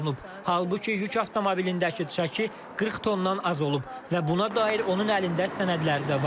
Halbuki yük avtomobilindəki çəki 40 tondan az olub və buna dair onun əlində sənədləri də var.